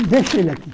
Deixa ele aqui.